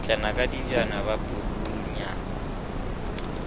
kgitlana ka dijabana ba purunyana